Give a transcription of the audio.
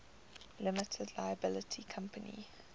limited liability company